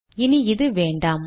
இனி இது வேண்டாம்